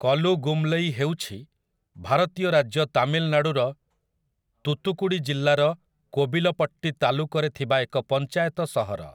କଲୁଗୁମଲୈ ହେଉଛି ଭାରତୀୟ ରାଜ୍ୟ ତାମିଲନାଡ଼ୁର ତୂତୁକୁଡ଼ି ଜିଲ୍ଲାର କୋବିଲପଟ୍ଟୀ ତାଲୁକରେ ଥିବା ଏକ ପଞ୍ଚାୟତ ସହର ।